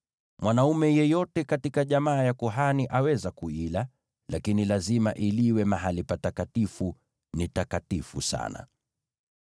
Mwanaume yeyote katika jamaa ya kuhani aweza kuila, lakini lazima iliwe mahali patakatifu; ni takatifu sana.